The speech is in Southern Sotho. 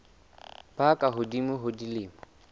ba ka hodimo ho dilemo